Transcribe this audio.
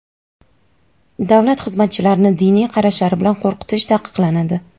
davlat xizmatchilarini diniy qarashlari bilan qo‘rqitish taqiqlanadi;.